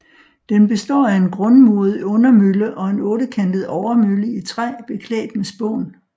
Den består af en grundmuret undermølle og en ottekantet overmølle i træ beklædt med spån